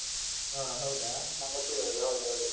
ಹಾ ಹೌದಾ? ನಾವ್ ಒಟ್ಟಿಗೇ ಹೋದದ್ದು. ಹೌದೌದು.